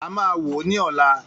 A máa wo ní ọ̀la